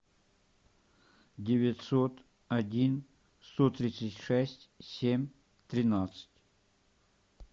девятьсот один сто тридцать шесть семь тринадцать